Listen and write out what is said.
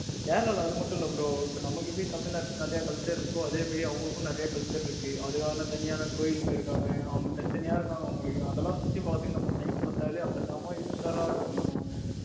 கேரளால அது மட்டும் இல்ல bro இப்ப நமக்கு எப்படி தமிழ்நாட்டில நிறைய culture இருக்கோ அதே மாதிரி அவங்களுக்கும் நிறைய culture இருக்கு. தனியான கோயில்ல இருக்காங்க. அவங்க தனித்தனிய இருக்காங்க அவங்களுக்கு அதெல்லாம் சுத்தி பார்த்ததுக்கே நம்மக்கு time பத்தாது அவங்க செம இருக்கும். bro அங்க